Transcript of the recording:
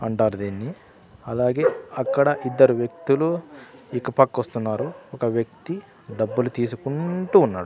అంటారు దీన్ని అలాగే అక్కడ ఇద్దరు వ్యక్తులు ఇకపక్ వస్తున్నారు ఒక వ్యక్తి డబ్బులు తీసుకుంటూ ఉన్నాడు.